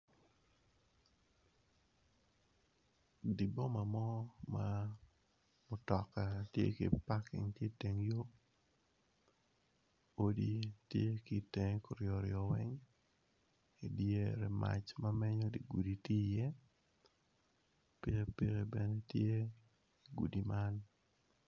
Di boma mo ma mutoka ti ki paking ki iteng yo odi tye ki itenge tung kuryo ryo weng idyere mac ma menyo dye kudi ti iye, pikipiki bene tye i gudi man.